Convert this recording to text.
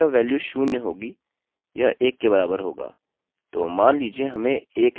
तो मान लीजिए हमें एक एको करना है जोकि दो के बराबर होना चाहिए